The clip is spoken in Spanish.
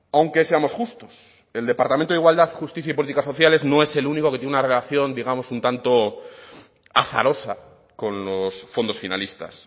aunque seamos justos el departamento de igualdad justicia y políticas sociales no es el único que tiene una relación digamos un tanto azarosa con los fondos finalistas